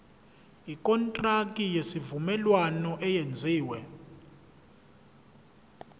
ikontraki yesivumelwano eyenziwe